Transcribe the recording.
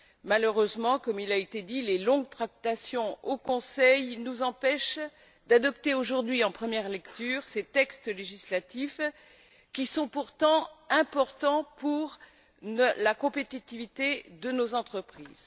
Malheureusement, comme il a été dit, les longues tractations au Conseil nous empêchent d'adopter aujourd'hui, en première lecture, ces textes législatifs qui sont pourtant importants pour la compétitivité de nos entreprises.